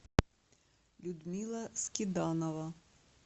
людмила скиданова